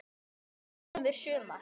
Senn kemur sumar.